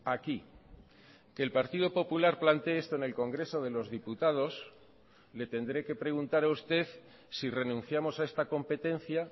aquí que el partido popular planteé esto en el congreso de los diputados le tendré que preguntar a usted si renunciamos a esta competencia